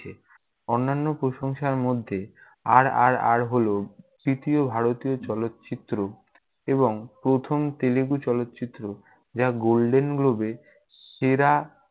অন্যান্য প্রশংসার মধ্যে, RRR হল তৃতীয় ভারতীয় চলচ্চিত্র এবং প্রথম তেলেগু চলচ্চিত্র যা golden globe এ সেরা